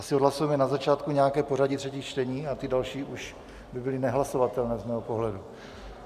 Asi odhlasujeme na začátku nějaké pořadí třetích čtení a ty další už by byly nehlasovatelné z mého pohledu.